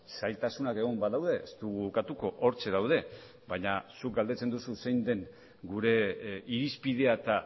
zailtasunak egon badaude ez dugu ukatuko hortxe daude baina zuk galdetzen duzu zein den gure irizpidea eta